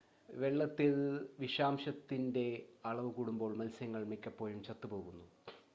വെള്ളത്തിൽ വിഷാംശത്തിൻ്റെ അളവ് കൂടുമ്പോൾ മത്സ്യങ്ങൾ മിക്കപ്പോഴും ചത്തു പോകുന്നു